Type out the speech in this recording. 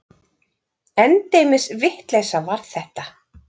Endemis vitleysa var þetta!